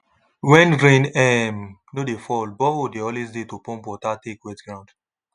when rain um no dey fall borehole dey always dey to pump water take wet ground